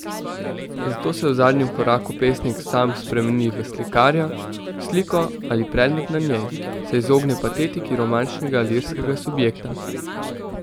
Zato se v zadnjem koraku pesnik sam spremeni v slikarja, v sliko ali predmet na njej, se izogne patetiki romantičnega lirskega subjekta.